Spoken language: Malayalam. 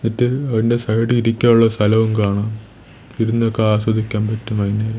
ഇതിൽ അതിന്റെ സൈഡ് ഇരിക്കാനുള്ള സ്ഥലവും കാണാം ഇരുന്നൊക്കെ ആസ്വദിക്കാൻ പറ്റും വൈകുന്നേരം.